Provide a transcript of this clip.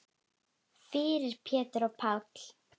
Fyrir Pétur og Pál.